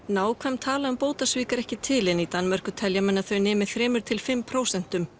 nákvæm tala um bótasvik er ekki til en í Danmörku telja menn að þau nemi þrjú til fimm prósent